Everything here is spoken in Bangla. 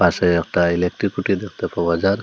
পাশে একটা ইলেকট্রিক খুঁটি দেখতে পাওয়া যার।